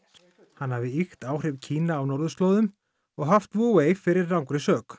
hann hafi ýkt áhrif Kína á norðurslóðum og haft fyrir rangri sök